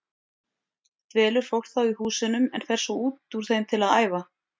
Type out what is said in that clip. Dvelur fólk þá í húsunum en fer svo út úr þeim til að æfa.